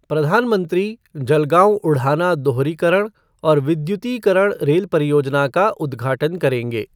प्रधानमंत्री जलगांव उढ़ाना दोहरीकरण और विद्युतीकरण रेल परियोजना का उद्घाटन करेंगे।